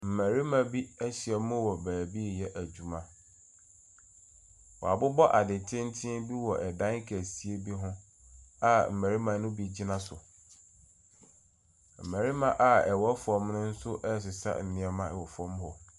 Mmarima bi ahyiam wɔ baabi reyɛ adwuma. Wɔabobɔ ade tenten bi wɔ dan kɛseɛ bi ho a mmarima no bi gyina so. Mmarima a wɔwɔ fam no nso resesa nneɛma wɔ fam hɔ.